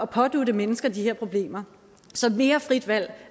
pådutte mennesker de her problemer så mere frit valg